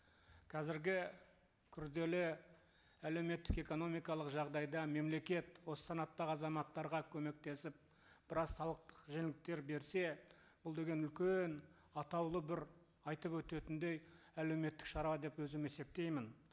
қазіргі күрделі әлеуметтік экономикалық жағдайда мемлекет осы санаттағы азаматтарға көмектесіп біраз салықтық жеңілдіктер берсе бұл деген үлкен атаулы бір айтып өтетіндей әлеуметтік шара деп өзім есептеймін